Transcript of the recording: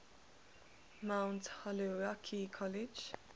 mount holyoke college